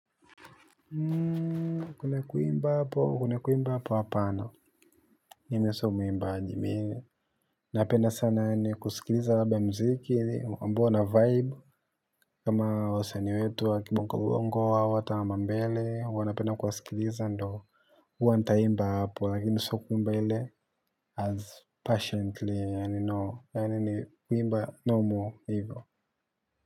Hmm. Kwenye kuimba hapo kwenye kuimba hapo hapana mimi sio muimbaji mi napenda sana yani kusikiliza labda mziki ambao una vibe. Kama wasanii wetu wa kibongo bongo au ata wa ma mbele huwa na penda kuwasikiliza ndo. Hua nitaimba hapo lakini sio kuimba ile as patiently yani no yani ni kuimba no more hivyo.